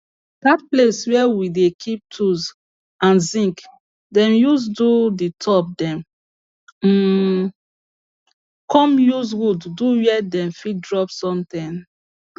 that place where we dey keep tools an zinc them use do the top them um come use wood do where dem fit drop something